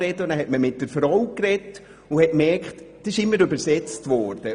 Als man mit der Frau sprach, bemerkte man, dass ständig übersetzt wurde.